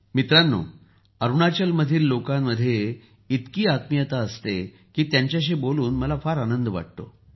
मित्रांनो अरुणाचलातील लोकांमध्ये इतकी आत्मीयता असते की त्यांच्याशी बोलून मला फार आनंद वाटतो